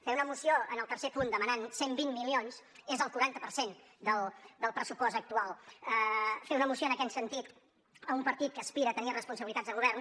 fer una moció en el tercer punt demanant cent i vint milions és el quaranta per cent del pressupost actual fer una moció en aquest sentit un partit que aspira a tenir responsabilitats de govern